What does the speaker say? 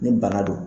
Ni bana don